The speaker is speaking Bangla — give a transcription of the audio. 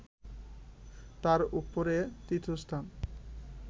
তার উপরে তীর্থস্থান